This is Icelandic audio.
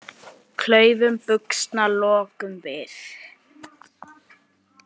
Klaufum buxna lokum við.